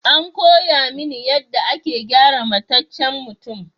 An koya mini yadda ake gyara mataccen mutum.